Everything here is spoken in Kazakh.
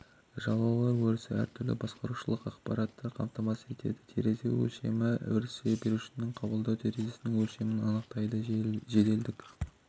жалаулар өрісі әртүрлі басқарушылық ақпаратты қамтамасыз етеді терезе өлшемі өрісі жіберушінің қабылдау терезесінің өлшемін анықтайды жеделділік